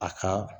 A ka